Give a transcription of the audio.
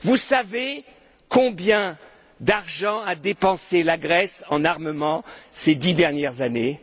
Savez vous combien d'argent a dépensé la Grèce en armement ces dix dernières années?